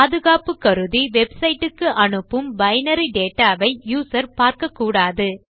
பாதுகாப்பு கருதி நாம் வெப்சைட் க்கு அனுப்பும் பைனரி டேட்டா வை யூசர் பார்க்கக்கூடாது